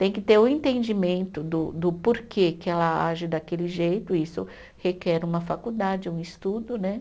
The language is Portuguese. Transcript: Tem que ter o entendimento do do porquê que ela age daquele jeito, isso requer uma faculdade, um estudo, né?